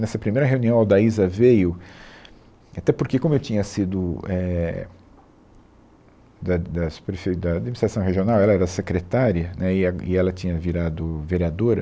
Nessa primeira reunião, a Aldaíza veio, até porque como eu tinha sido, é, da da subprefe, da Administração Regional, ela era secretária, né, e ela, e ela tinha virado vereadora,